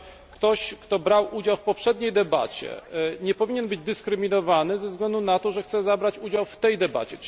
Ktoś, kto brał udział w poprzedniej debacie, nie powinien być dyskryminowany ze względu na to, że chce brać udział w tej debacie.